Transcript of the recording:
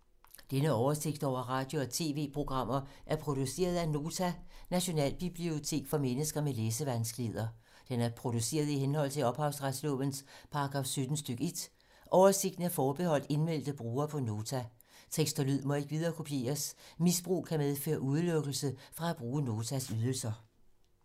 Denne oversigt over radio og TV-programmer er produceret af Nota, Nationalbibliotek for mennesker med læsevanskeligheder. Den er produceret i henhold til ophavsretslovens paragraf 17 stk. 1. Oversigten er forbeholdt indmeldte brugere på Nota. Tekst og lyd må ikke viderekopieres. Misbrug kan medføre udelukkelse fra at bruge Notas ydelser.